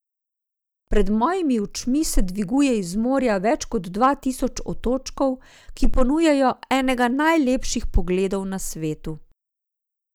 Pred mojimi očmi se dviguje iz morja več kot dva tisoč otočkov, ki ponujajo enega najlepših pogledov na svetu.